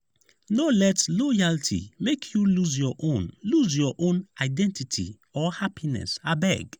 no let loyalty make you lose your own lose your own identity or happiness abeg.